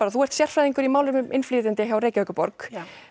þú ert sérfræðingur í málefnum innflytjenda hjá Reykjavíkurborg